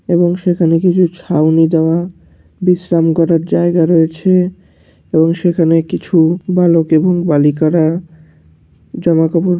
এবং সেখানে কিছু ছাউনি দেওয়া বিশ্রাম করার জায়গা রয়েছে এবং সেখানে কিছু বালক এবং বালিকারা জামা কাপড়--